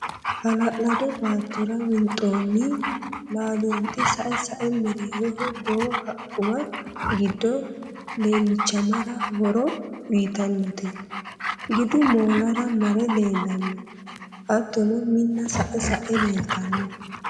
Hala'lado baattora winxoonni laalxhi sae sae mereeroho boo haqquwa gidu laalchimmara horo uyitannote. Gidu moolara mare leellanno. hattono Minna sa'e sa'e leeltanno.